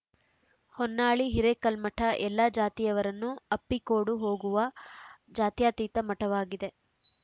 ಹೊನ್ನಾಳಿ ಹಿರೇಕಲ್ಮಠ ಎಲ್ಲಾ ಜಾತಿಯವರನ್ನು ಅಪ್ಪಿಕೋಡು ಹೋಗುವ ಜಾತ್ಯತೀತ ಮಠವಾಗಿದೆ